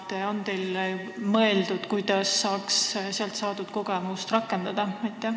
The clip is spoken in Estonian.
Kas olete mõelnud, kuidas saaks seal saadud kogemust selles töös rakendada?